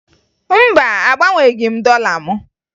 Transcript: Mba, agbanweghi m dọla m